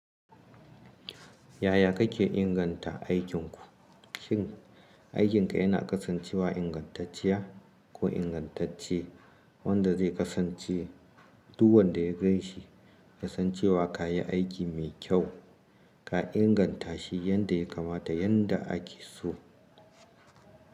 Yaya kake inganta aikin ku? Shin, aikinka yana kasancewa ingantacciya ko ingantacce wanda zai kasance duk wanda ya ganshi, kasancewa ka yi aiki mai kyau. Ka inganta shi yanda ya kamata yanda ake so.